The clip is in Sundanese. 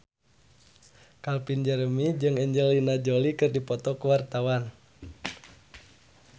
Calvin Jeremy jeung Angelina Jolie keur dipoto ku wartawan